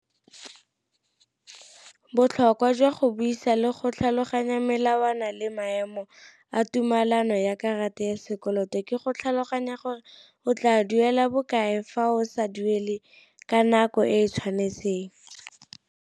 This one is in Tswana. Botlhokwa jwa go buisa le go tlhaloganya melawana le maemo a tumalano ya karata ya sekoloto, ke go tlhaloganya gore o tla duela bokae fa o sa duele ka nako e e tshwanetseng.